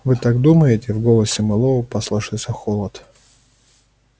вы так думаете в голосе мэллоу послышался холод